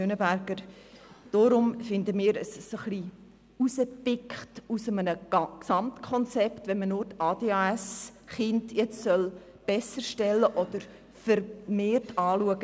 Aus unserer Sicht sieht es so aus, als würde man aus einem Gesamtkonzept etwas herauspicken, indem man nur die ADHS-Kinder vermehrt anschaut.